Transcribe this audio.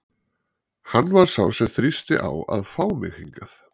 Hann var sá sem þrýsti á að fá mig hingað.